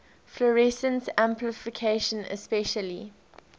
fluorescence amplification especially